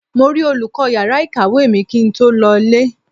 Mo rí olùkọ́ yàrá ìkàwé mi kí n tó lọ ilé.